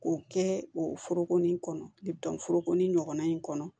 K'o kɛ o foroko nin kɔnɔ forokonin ɲɔgɔnna in kɔnɔ